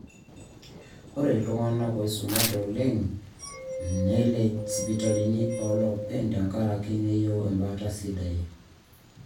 ore iltung'anak ooisumate oleng negelj sipitalini ooloopeny tenkaraki neyieu embaata sidai